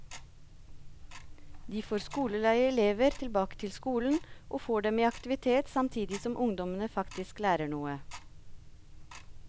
De får skoleleie elever tilbake til skolen, og får dem i aktivitet samtidig som ungdommene faktisk lærer noe.